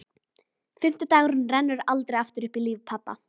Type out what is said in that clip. Fimmti dagurinn rennur aldrei aftur upp í lífi pabba.